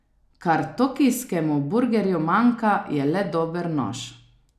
Kar tokijskemu burgerju manjka, je le dober nož.